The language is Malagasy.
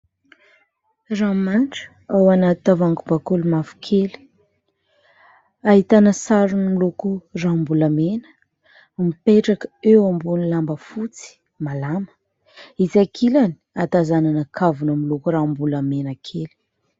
Rano manitra ao anaty tavohangy bakoly mavokely, ahitana sarony miloko ranom-bolamena, mipetraka eo ambony lamba fotsy malama, etsy ankilany hatazamana kavina miloko ranom- bolamena kely.